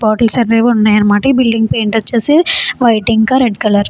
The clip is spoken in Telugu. బాటిల్స్ అన్నీ ఉన్నాయ్ ఇవి బిల్డింగ్ కలర్ ఒచేసే వైట్ అండ్ రెడ్ కలర్ అన్నమాట.